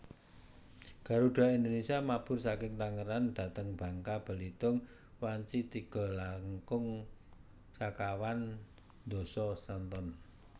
Garuda Indonesia mabur saking Tangerang dhateng Bangka Belitung wanci tiga langkung sekawan doso sonten